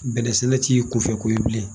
Bɛnɛ sɛnɛ t'i kunfɛ ko ye bilen.